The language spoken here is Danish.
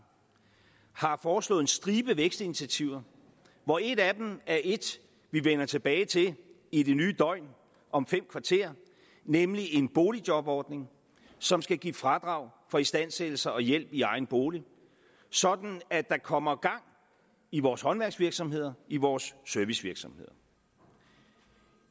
har foreslået en stribe vækstinitiativer hvor et af dem er et vi vender tilbage til i det nye døgn om fem kvarter nemlig en boligjobordning som skal give fradrag for istandsættelse og hjælp i egen bolig sådan at der kommer gang i vores håndværksvirksomheder i vores servicevirksomheder